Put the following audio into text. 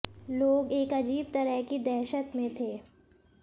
लोग एक अजीब तरह की दहशत में थे